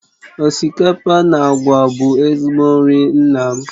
Osikapa na àgwà bụ ezigbo nri nna m